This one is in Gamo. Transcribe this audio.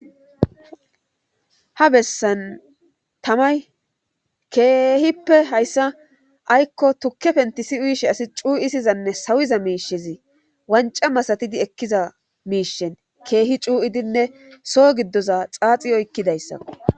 ha bessan tamay keehippe hayssa aykko tukke pentisi uyishe asi cuu7i sizanne sawiza miishezi wanca masatidi ekkiza miishen keehi cuu7idinne soo giddoza xaaxi oykkidayssa